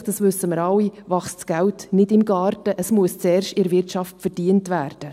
Schliesslich, das wissen wir alle, wächst das Geld nicht im Garten, es muss zuerst in der Wirtschaft verdient werden.